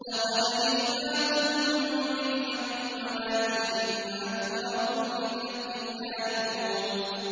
لَقَدْ جِئْنَاكُم بِالْحَقِّ وَلَٰكِنَّ أَكْثَرَكُمْ لِلْحَقِّ كَارِهُونَ